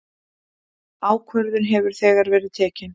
Ákvörðun hefur þegar verið tekin.